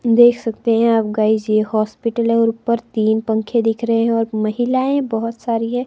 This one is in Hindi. देख सकते हैं आप गाइस यह हॉस्पिटल है और ऊपर तीन पंखे दिख रहे हैं और महिलाएं बहुत सारी हैं।